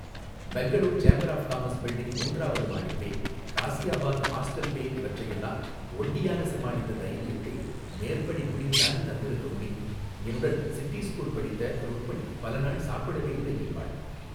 Bangalore chamber of commerce building மூன்றாவது மாடிப்பேய் Ghaziabad hostel பேய் இவற்றையெல்லாம் ஒண்டியாக சமாளித்த தைரியத்தை மேற்படி முடிவு தானே தந்திருக்க முடியும் என்னுடன் சிட்டி ஸ்கூல்ல படித்த ருக்மணி பல நாள் சாப்பிடவேயில்லை என்பாள்.